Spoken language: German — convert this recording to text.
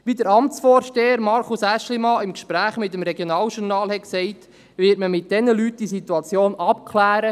Wie der Amtsvorsteher des MIP, Markus Aeschlimann, im Gespräch mit dem «Regionaljournal»sagte, wird man mit diesen Leuten die Situation abklären.